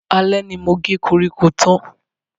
Alẹ́ ni mo ge koríko tán.